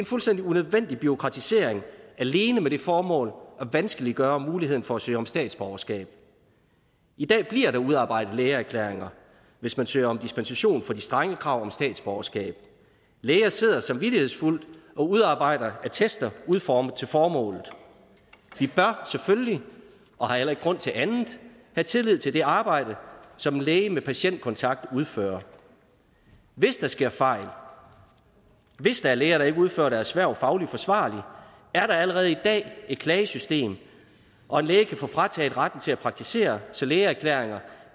fuldstændig unødvendig bureaukratisering alene med det formål at vanskeliggøre muligheden for at søge om statsborgerskab i dag bliver der udarbejdet lægeerklæringer hvis man søger om dispensation fra de strenge krav statsborgerskab læger sidder samvittighedsfuldt og udarbejder attester udformet til formålet vi bør selvfølgelig og har heller ikke grund til andet have tillid til det arbejde som en læge med patientkontakt udfører hvis der sker fejl hvis der er læger der ikke udfører deres hverv fagligt forsvarligt er der allerede i dag et klagesystem og en læge kan få frataget retten til at praktisere så lægeerklæringer